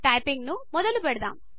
టైపింగ్ను మొదలు పెడదాం